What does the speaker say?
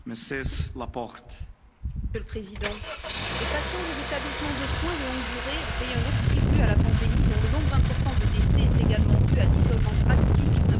Monsieur le Président, les patients des établissements de soins de longue durée ont payé un lourd tribut à la pandémie, dont le nombre important de décès est également dû à l'isolement drastique imposé à ces personnes vulnérables.